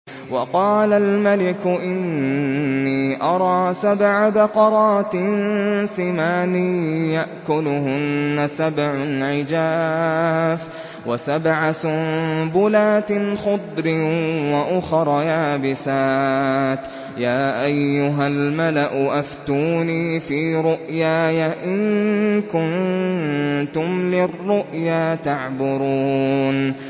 وَقَالَ الْمَلِكُ إِنِّي أَرَىٰ سَبْعَ بَقَرَاتٍ سِمَانٍ يَأْكُلُهُنَّ سَبْعٌ عِجَافٌ وَسَبْعَ سُنبُلَاتٍ خُضْرٍ وَأُخَرَ يَابِسَاتٍ ۖ يَا أَيُّهَا الْمَلَأُ أَفْتُونِي فِي رُؤْيَايَ إِن كُنتُمْ لِلرُّؤْيَا تَعْبُرُونَ